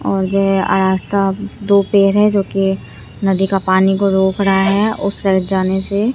और दो पेड़ है जो कि नदी का पानी को रोक रहा है उस साइड जाने से।